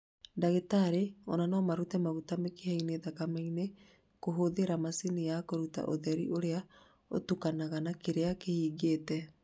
Ndagitari ona no marute maguta mĩkiha-inĩ ya thakame kũhũthĩra macini ya kũruta ũtheri ũrĩa ũtukanaga na kĩrĩa kĩhingĩte